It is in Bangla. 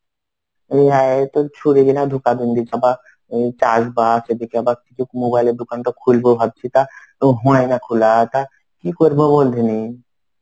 হ্যাঁ এ তো ছুরি কিনা ধোঁকা চাষ বাস. এদিকে আবার কিছু mobile এর দোকানটা খুলবো ভাবছি তা. তো হয় না খোলা. তা কি করবো বলতে দেখিনি?